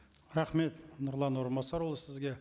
рахмет нұрлан орынбасарұлы сізге